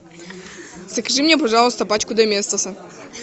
закажи мне пожалуйста пачку доместоса